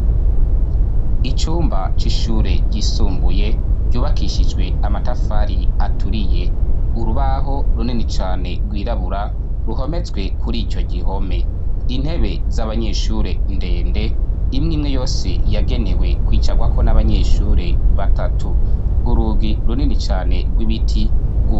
Icumba c'ishure ryisumbuye ryubakishijwe amatafari aturiye, urubaho runini cane rwirabura ruhometswe kuri ico gihome intebe z'abanyeshure ndende imwe imwe yose yagenewe kwicarwako n'abanyeshure batatu, urugi runini cane rw'ibiti